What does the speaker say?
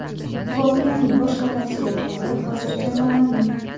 Voqeaning boshqa tafsilotlari hozircha noma’lum.